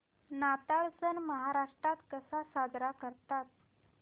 नाताळ सण महाराष्ट्रात कसा साजरा करतात